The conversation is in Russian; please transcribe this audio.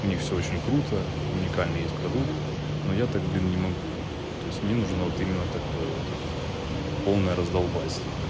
у них всё очень круто уникальный есть продукт но я так блин не могу то есть мне нужно вот именно такой вот полное раздолбайство